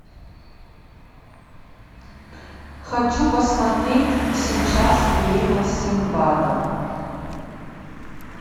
хочу посмотреть сейчас время синдбада